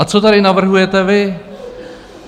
A co tady navrhujete vy?